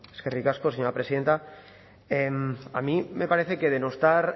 eskerrik asko señora presidenta a mí me parece que denostar